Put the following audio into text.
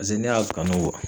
Pase ne y'a kanu